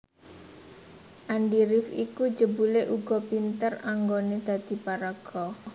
Andi rif iku jebulé uga pinter anggoné dadi paraga